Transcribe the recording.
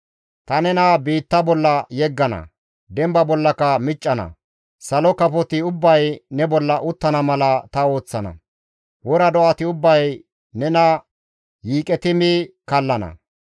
Ta nena biitta bolla yeggana; demba bollaka miccana; salo kafoti ubbay ne bolla uttana mala ta ooththana; wora do7ati ubbay nena yiiqeti mi kallana.